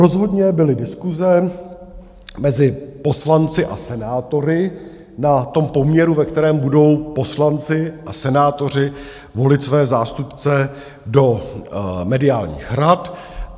Rozhodně byly diskuse mezi poslanci a senátory na tom poměru, ve kterém budou poslanci a senátoři volit své zástupce do mediálních rad.